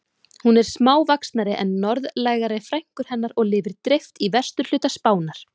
Hún er smávaxnari en norðlægari frænkur hennar og lifir dreift í vesturhluta Spánar.